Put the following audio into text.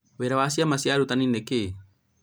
Wĩra wa ciama cia arutani nĩ kĩĩ?